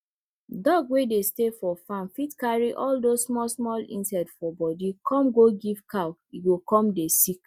dog wey dey stay for farm fit carry all those small small insect for body come go give cow e go come dey sick